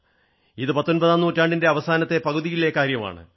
ഇത് പത്തൊമ്പതാം നൂറ്റാണ്ടിന്റെ അവസാനത്തെ പകുതിയിലെ കാര്യമാണ്